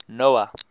noah